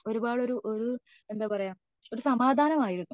ഒരുപാട് ഒരു എന്താ പറയാ.. ഒരു സമാധാനം ആയിരുന്നു